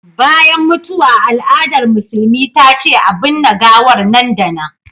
Bayan mutuwa al'adar musulmi ta ce a binne gawar nan da nan